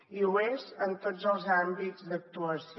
i ho és en tots els àmbits d’actuació